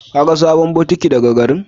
Kin gan sabon butiƙ da ka garin?